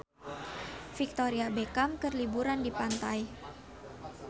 Victoria Beckham keur liburan di pantai